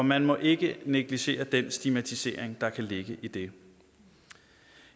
man må ikke negligere den stigmatisering der kan ligge i det